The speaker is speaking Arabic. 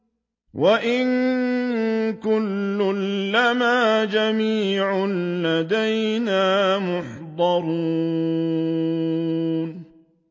وَإِن كُلٌّ لَّمَّا جَمِيعٌ لَّدَيْنَا مُحْضَرُونَ